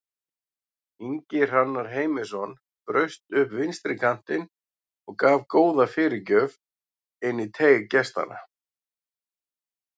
Ingi Hrannar Heimisson braust upp vinstri kantinn og gaf góða fyrirgjöf inn í teig gestanna.